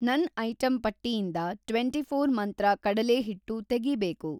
ನನ್‌ ಐಟಂ ಪಟ್ಟಿಯಿಂದ ಟ್ವೆಂಟಿಫ಼ೋರ್‌ ಮಂತ್ರ ಕಡಲೇಹಿಟ್ಟು ತೆಗೀಬೇಕು.